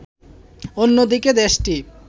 অন্যদিকে দেশটির